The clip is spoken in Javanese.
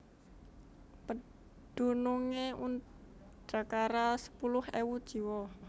Pedunungé udakara sepuluh ewu jiwa